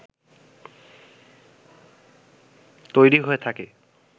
তৈরি হয়ে থাকে